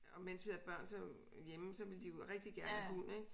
Og mens vi havde børn så hjemme så ville de jo rigtig gerne have hund ik